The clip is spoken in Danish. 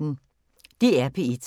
DR P1